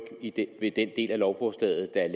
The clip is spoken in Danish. ved den del af lovforslaget der